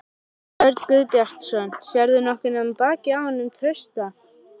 Jón Örn Guðbjartsson: Sérðu nokkuð nema bakið á honum Trausta?